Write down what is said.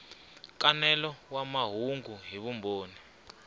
nkanelo wa mahungu hi vumbhoni